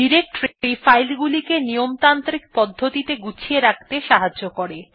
directory file গুলিকে নিয়মতান্ত্রিক পদ্ধতিতে গুছিয়ে রাখতে সাহায্য করে